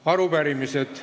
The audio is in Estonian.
Arupärimised.